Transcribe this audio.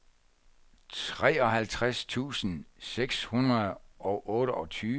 treoghalvtreds tusind seks hundrede og otteogtyve